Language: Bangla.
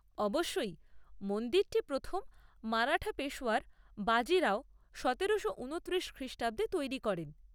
অবশ্যই, মন্দিরটি প্রথম মারাঠা পেশওয়া বাজি রাও সতেরোশো ঊনত্রিশ খ্রিষ্টাব্দে তৈরি করেন।